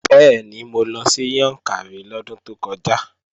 Bẹ́ẹ̀ni, mo lọ sí Yàǹkàrí lọ́dún tó kọjá